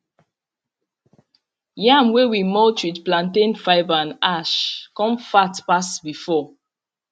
yam wey we mulch with plantain fibre and ash come fat pass before